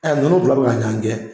Ɛ nunnu fila de ma ɲan gɛn